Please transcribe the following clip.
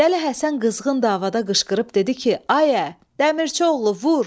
Dəli Həsən qızğın davada qışqırıb dedi ki, ayə, Dəmirçioğlu, vur!